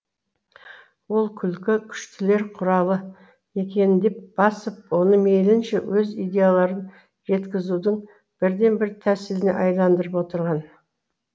ол күлкі күштілер құралы екенін деп басып оны мейлінше өз идеяларын жеткізудің бірден бір тәсіліне айландырып отырған